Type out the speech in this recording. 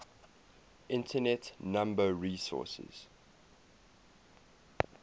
internet number resources